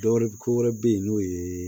Dɔwɛrɛ ko wɛrɛ be yen n'o ye